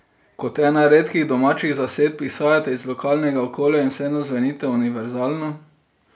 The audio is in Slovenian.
Kot ena redkih domačih zasedb izhajate iz lokalnega okolja in vseeno zvenite univerzalno.